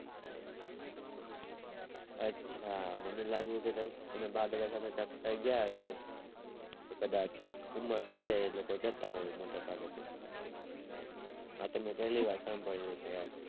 અચ્છા મને લાગ્યું કે તમે બા દાદા સાથે જાત્રા એ ગયા હોઈસો તો કદાચ ઉમર થય જાય એ લોકો જતા હોય મોટા ભાગે તો અતો મેં પેલી વાર સાંભળ્યું કે આ